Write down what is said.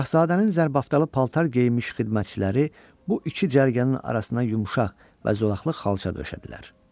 Şahzadənin zərbəftalı paltar geyinmiş xidmətçiləri bu iki cərgənin arasına yumşaq və zolaqlı xalça döşədilər.